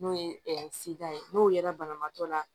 N'o ye ye n'o yera banabaatɔ la